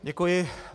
Děkuji.